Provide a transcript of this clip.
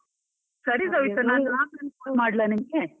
ಸರಿ ಸವಿತಾ ನಾನು ಆಮೇಲ್ phone ಮಾಡ್ಲಾ ನಿಮ್ಗೆ.